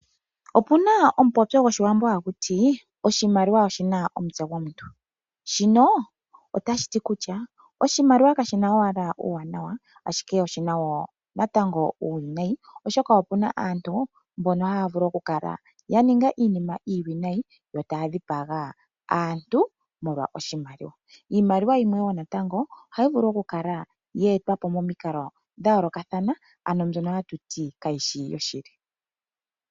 Opuna omupopyo gwoshiwambo haku tii: Oshimaliwa oshi na omutse gwomuntu. Shino ota shi ti kutya: Oshimaliwa kashina owala uuwanawa ashike oshina woo natango uuwinayi oshoka opuna aantu mbono haya vulu oku kala ya ninga iinima iiwinayi, yo ta ya dhipaga aantu, molwa oshimaliwa. Iimaliwa yimwe woo natango, oha yi vulu okukala ye etwa po momikalo dha yoolokathana ano mbyono ha tu tii kayishi yoshili.